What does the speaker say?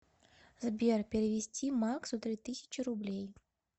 сбер перевести максу три тысячи рублей